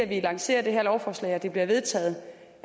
vi lancerer det her lovforslag og det bliver vedtaget